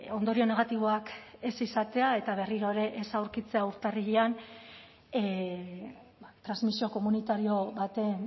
ondorio negatiboak ez izatea eta berriro ere ez aurkitzea urtarrilean transmisio komunitario baten